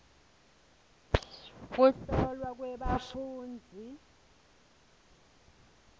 kuhlolwa kwebafundzi